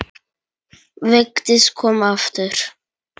Vigdís kom aftur.